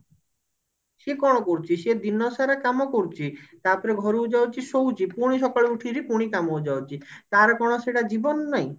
ସିଏ କଣ କରୁଛି ସିଏ ଦିନସାରା କାମ କରୁଛି ତାପରେ ଘରକୁ ଯାଉଛି ଶୋଉଛି ପୁଣି ସକାଳୁ ଉଠିକିରି ପୁଣି କାମକୁ ଯାଉଛି ତାର କଣ ସେଟା ଜୀବନ ନାହିଁ